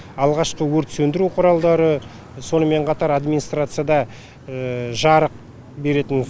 алғашқы өрт сөндіру құралдары сонымен қатар администарцияда жарық беретін